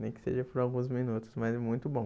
Nem que seja por alguns minutos, mas é muito bom.